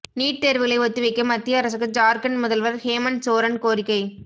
NEET தேர்வுகளை ஒத்திவைக்க மத்திய அரசுக்கு ஜார்க்கண்ட் முதல்வர் ஹேமந்த் சோரன் கோரிக்கை